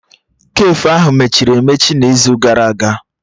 Kafe ahụ mechiri emechi n'izu gara aga